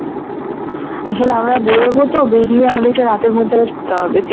আসলে আমরা বেরবো তো বেরিয়ে আমাদের আবার রাতের মধ্যে ফিরতে হবে